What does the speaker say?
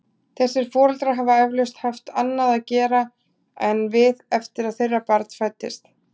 Þessir foreldrar hafa eflaust haft annað að gera en við eftir að þeirra barn fæddist.